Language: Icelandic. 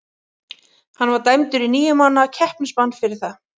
Hann var dæmdur í níu mánaða keppnisbann fyrir það.